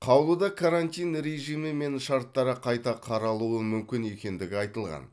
қаулыда карантин режимі мен шарттары қайта қаралуы мүмкін екендігі айтылған